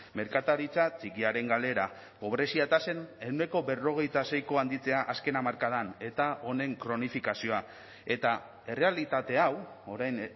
merkataritza txikiaren galera pobrezia tasen ehuneko berrogeita seiko handitzea azken hamarkadan eta honen kronifikazioa eta errealitate hau orain